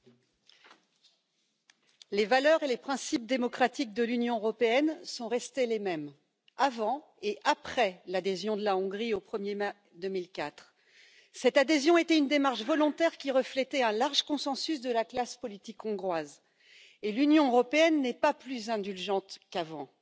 Monsieur le Président, Monsieur le Premier ministre, les valeurs et les principes démocratiques de l'Union européenne sont restés les mêmes, avant et après l'adhésion de la Hongrie au 1er mai 2004. Cette adhésion était une démarche volontaire, qui reflétait un large consensus de la classe politique hongroise, et l'Union européenne n'est pas plus indulgente qu'avant.